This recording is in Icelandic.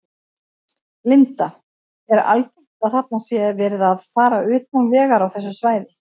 Linda: Er algengt að þarna sé verið að fara utan vegar á þessu svæði?